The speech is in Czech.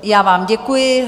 Já vám děkuji.